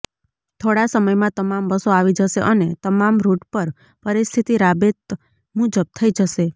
થોડા સમયમાં તમામ બસો આવી જશે અને તમામ રૃટ પર પરિસ્થિતી રાબેત મુજબ થઈ જશે